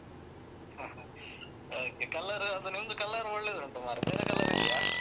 Okay colour ಅದು ನಿಮ್ದು colour ಒಳ್ಳೆದುಂಟು ಮಾರ್‍ರೇ ಬೇರೆ colour ಇದ್ಯಾ?